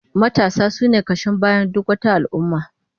Matasa sune kashin bayan duk wata al'ummah